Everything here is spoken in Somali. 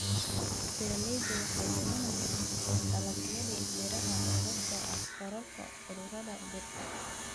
Beeraleydu waxay luminayaan dalagyadii beeraha sababtoo ah kororka cudurrada dhirta.